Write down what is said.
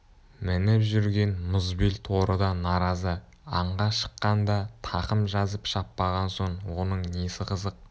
мініп жүрген мұзбел торы да наразы аңға шыққанда тақым жазып шаппаған соң оның несі қызық